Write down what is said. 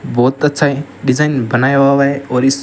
बहुत अच्छा डिजाइन बनाया हुआ हुआ है और इस--